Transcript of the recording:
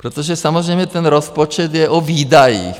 Protože samozřejmě ten rozpočet je o výdajích.